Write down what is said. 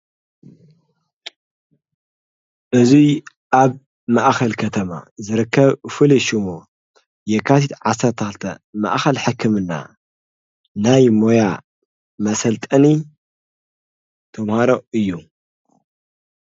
እዙይ ኣብ መኣኸል ከተማ ዝረከብ ፍልሹሙ የካሲት ዓሠርታልተ መኣኸል ሐክምና ናይ ሞያ መሰልጠኒ ተምሃሮ እዩ።